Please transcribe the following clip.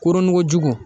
Koronkojugu